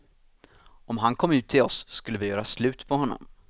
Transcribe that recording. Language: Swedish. Om han kom ut till oss skulle vi göra slut på honom.